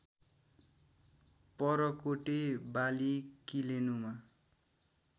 परकोटे वाली किलेनुमा